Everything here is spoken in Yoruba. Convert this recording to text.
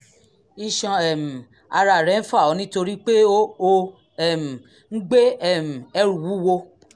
iṣan um ara rẹ ń fà ọ́ nítorí pé ò um ń gbé um ẹrù wúwo